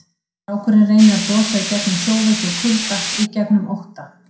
Strákurinn reynir að brosa í gegnum sjóveiki og kulda, í gegnum ótta.